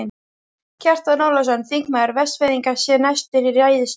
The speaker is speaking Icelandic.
Kjartan Ólafsson, þingmaður Vestfirðinga, sté næstur í ræðustól.